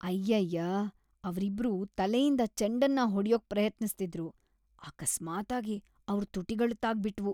ಅಯ್ಯಯ್ಯಾ! ಅವ್ರಿಬ್ರೂ ತಲೆಯಿಂದ ಚೆಂಡನ್ನ ಹೊಡ್ಯೋಕ್ ಪ್ರಯತ್ನಿಸ್ತಿದ್ರು, ಅಕಸ್ಮಾತ್ತಾಗಿ ಅವ್ರ್ ತುಟಿಗಳು ತಾಗ್ಬಿಟ್ವು.